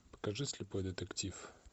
покажи слепой детектив